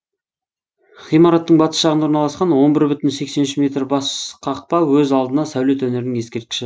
ғимараттың батыс жағында орналасқан он бір бүтін сексен үш метр бас қақпа өз алдына сәулет өнерінің ескерткіші